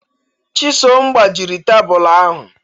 Chisom gbajịrị tebụlụ ahụ